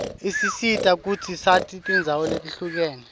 isisita kutsi sati tindzawo letihlukene